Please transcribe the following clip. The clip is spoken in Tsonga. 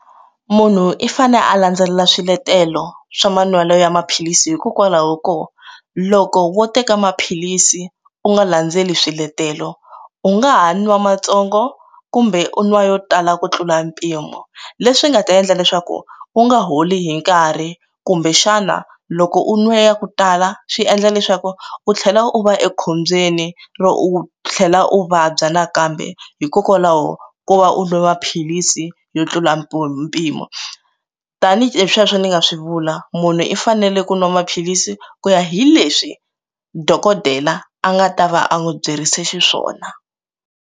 Munhu i fane a landzelela swiletelo swa manwelo ya maphilisi hikokwalaho ko loko wo teka maphilisi u nga landzeleli swiletelo u nga ha nwa matsongo kumbe u nwa yo tala ku tlula mpimo leswi nga ta endla leswaku u nga holi hi nkarhi kumbexana loko u nwe ya ku tala swi endla leswaku u tlhela u va ekhombyeni ro u tlhela u vabya nakambe hikokwalaho ko va u lova philisi yo tlula mpimo mpimo tanihi sweswo ni nga swi vula munhu i fanele ku nwa maphilisi ku ya hi leswi dokodela a nga ta va a n'wi byerise xiswona.